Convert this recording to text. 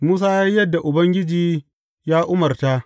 Musa ya yi yadda Ubangiji ya umarta.